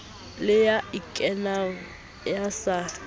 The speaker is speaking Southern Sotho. le ya ikanang ya sa